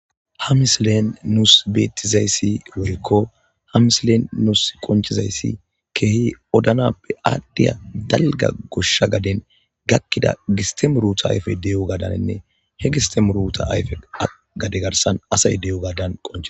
Ha misilen nuusi betizays woyko ha misilen nuusi qoncizays Keehi odanappe adhiya dalga Gosha gaden gakida giste muruta ayfeyi de'iyogadaninne he giste muruta ayfe gade garsan asay de'iyogadan qoncises.